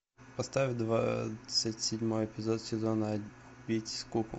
поставь двадцать седьмой эпизод сезона убить скуку